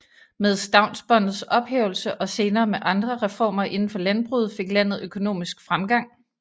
Med stavnsbåndets ophævelse og senere med andre reformer inden for landbruget fik landet økonomisk fremgang